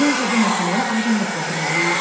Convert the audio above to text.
Məncə bu məsələyə aydınlıq gətirməliyik.